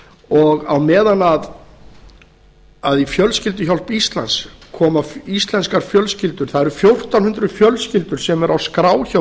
og á meðan í fjölskylduhjálp íslands koma íslenskar fjölskyldur það eru fjórtán hundruð fjölskyldur sem eru á skrá hjá